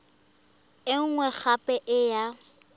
e nngwe gape e ya